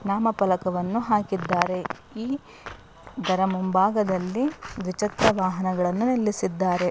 ನಾಮಫಲಕವನ್ನು ಹಾಕಿದ್ದಾರೆ ಈ ಇದರ ಮುಂಭಾಗದಲ್ಲಿ ದ್ವಿಚಕ್ರ ವಾಹನಗಳನ್ನು ನಿಲ್ಲಿಸಿದಾರೆ.